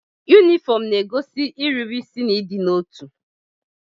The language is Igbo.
Yunifọmụ na-egosi irube isi na ịdịnotu.